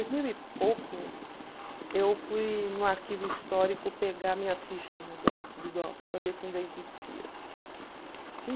dois mil e pouco, eu fui no arquivo histórico pegar minha ficha no do para ver se ainda existia.